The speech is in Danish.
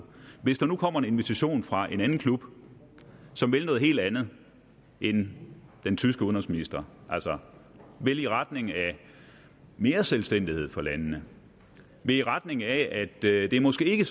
hvis der nu kommer en invitation fra en anden klub som vil noget helt andet end den tyske udenrigsminister altså vil i retning af mere selvstændighed for landene vil i retning af at det måske ikke